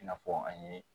I n'a fɔ an ye